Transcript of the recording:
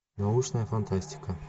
научная фантастика